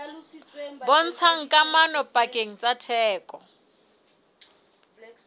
bontshang kamano pakeng tsa theko